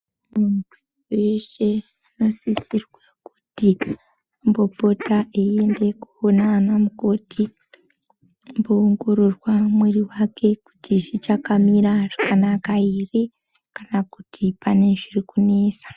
Dundu reshe rinosisirwa kuti ambo pota eyi ende koona ana mukoti umbo ongororwa mwiri wake kuti zvichaka mira zvakanaka ere kana kuti pane zviri kunesa.